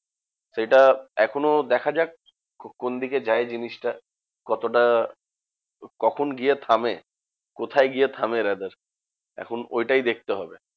সেটা এখনও দেখা যাক কোন দিকে যায় জিনিসটা? কতটা কখন গিয়ে থামে? কোথায় গিয়ে থামে rather? এখন ওইটাই দেখতে হবে।